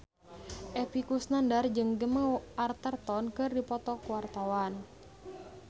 Epy Kusnandar jeung Gemma Arterton keur dipoto ku wartawan